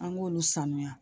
An k'olu sanuya